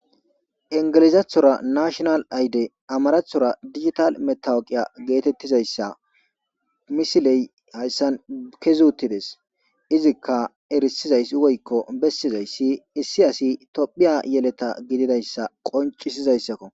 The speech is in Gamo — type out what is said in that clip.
ingelizathora nashinal ayde amarathora digital metawuqiya geetettizayssa misiley hayssan kezi uttides izikka erisizay woykko bessizayssi issi asi tophiya yeleta gididayssa qoncisizayssakko